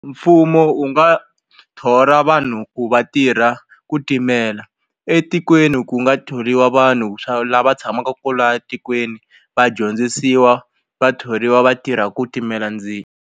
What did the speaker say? Mfumo wu nga thola vanhu ku va tirha ku timela etikweni ku nga thoriwa vanhu swa lava tshamaka kwalaya tikweni vadyondzisiwa va thoriwa va tirha ku timela ndzilo.